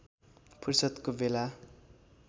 फुर्सदको बेला